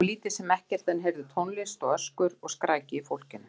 Þau sáu lítið sem ekkert, en heyrðu tónlist og öskur og skræki í fólkinu.